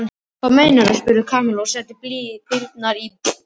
Hvað meinarðu? spurði Kamilla og setti í brýnnar.